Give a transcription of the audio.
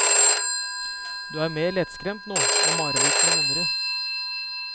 Du er mer lettskremt nå, og marerittene vondere.